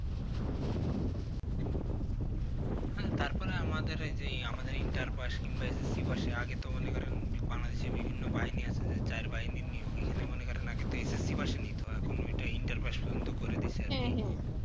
হ্যাঁ তারপরে আমাদের ওইযে Interpass কিংবা S S C পাশে আগে তো মনে করেন Bangladesh এ বিভিন্ন বাহিনী আছে যে যার বাহিনীর নিয়োগ এখানে মনে করেন আগে তো S S C pass এ নিতো এখন ওটা Interpass পর্যন্ত করে দিয়েছে আরকি